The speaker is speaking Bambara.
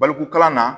Baliku kalan na